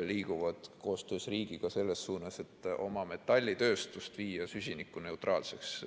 liiguvad koostöös riigiga selles suunas, et oma metallitööstust viia süsinikuneutraalseks.